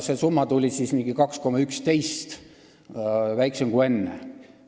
Summa tuli siis umbes 2,11% – väiksem kui enne.